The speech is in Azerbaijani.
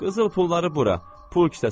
Qızıl pulları bura, pul kisəsinə tök.